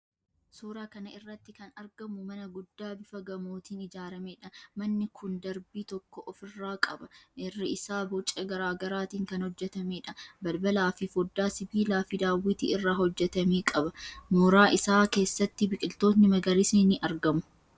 Suuraa kana irratti kan argamu mana guddaa bifa gamootiin ijaarameedha. Manni kun darbii tokko ofirraa qaba. Irri isaa boca garaa garaatiin kan hojjetameedha. Balbalaafi foddaa sibiilaafi daawwitii irraa hojjetame qaba. Mooraa isaa keessatti biqiloonni magariisni ni argamu.